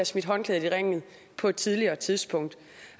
smidt håndklædet i ringen på et tidligere tidspunkt